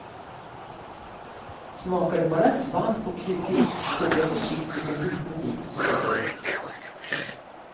Smakar det bara svamp och kryddigt, tugga försiktigt en liten bit och spotta ut.